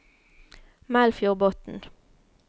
Melfjordbotn